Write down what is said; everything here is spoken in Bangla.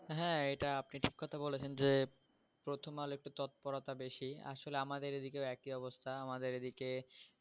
হ্যা আপনি এটা ঠিক কথা বলেছেন যে প্রথমআলো একটু তৎপরতা বেশি আসলে আমাদের এদিকে একই অবস্থা আমাদের এদিকে